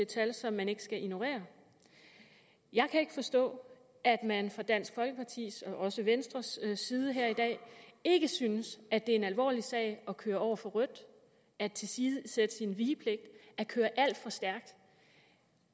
tal som man ikke skal ignorere jeg kan ikke forstå at man fra dansk folkepartis og også fra venstres side her i dag ikke synes at det er en alvorlig sag at køre over for rødt at tilsidesætte sin vigepligt at køre alt for stærkt